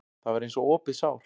Það var eins og opið sár.